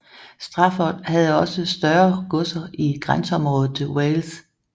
Stafford havde også større godser i grænseområdet til Wales